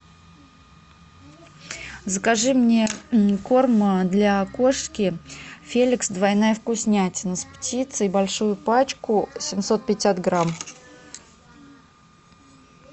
закажи мне корм для кошки феликс двойная вкуснятина с птицей большую пачку семьсот пятьдесят грамм